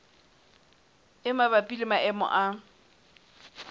e mabapi le maemo a